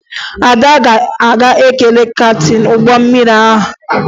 Ada ga-aga kelee kaptịn ụgbọ mmiri ha